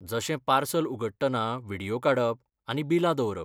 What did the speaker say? जशें पार्सल उगडटना व्हिडियो काडप आनी बिलां दवरप.